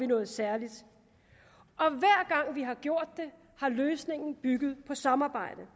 noget særligt og vi har gjort det har løsningen bygget på samarbejde